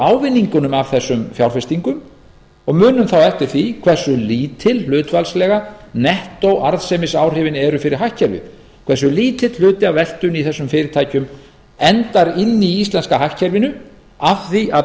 ávinningunum af þessum fjárfestingum og munum þá eftir því hversu lítið hlutfallslega nettóarðsemisáhrifin eru fyrir hagkerfið hversu lítill hluti af veltunni í þessum fyrirtækjum enda inni í íslenska hagkerfinu af því að